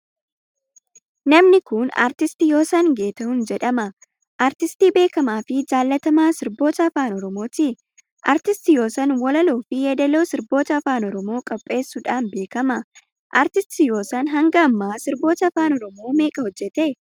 Namni kun Aartist Yoosan Geetahun jedhama. Aartistii beekamaafi jaallatamaa sirboota afaan Oromooti. Aartist Yoosan walaloofi yeedaloo sirboota afaan Oromoo qopheessuudhaan beekama. Aartist Yoosan hanga ammaa sirboota afaan Oromoo meeqa hojjete?